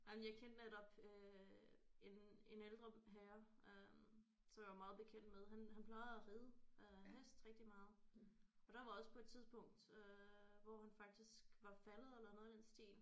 Ej men jeg kendte netop øh en en ældre herre øh som jeg var meget bekendt med han han plejede at ride øh hest rigtig meget og der var også på et tidspunkt øh hvor han faktisk var faldet eller noget i den stil